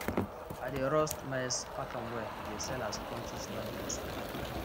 i dey roast maize pack am well dey sell as crunchy snack for school